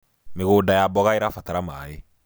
mĩgũnda ya mboga irabatara maĩ